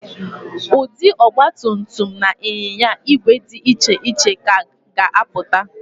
Ụdị ọgbatumtum na ịnyinya ígwè dị iche iche ka ga-apụta